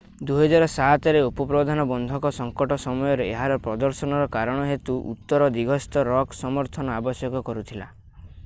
2007 ରେ ଉପପ୍ରଧାନ ବନ୍ଧକ ସଙ୍କଟ ସମୟରେ ଏହାର ପ୍ରଦର୍ଶନର କାରଣ ହେତୁ ଉତ୍ତର ଦିଗସ୍ଥ ରକ୍ ସମର୍ଥନ ଆବଶ୍ୟକ କରୁଥିଲା